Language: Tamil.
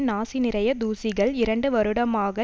நாசி நிறைய தூசிகள் இரண்டு வருடமாக